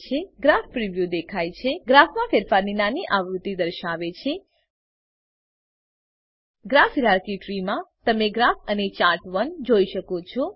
graph preview દેખાય છે ગ્રાફમાં ફેરફારોની નાની આવૃત્તિ દર્શાવે છે ગ્રાફ હાયરાર્કી ત્રી માં તમે ગ્રાફ અને ચાર્ટ1 જોઈ શકો છો